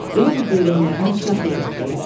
Elə bil böyrəklərinə bıçaq yeritdilər.